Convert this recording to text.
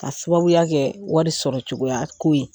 K'a sababuya kɛ wari sɔrɔ cogoyako ye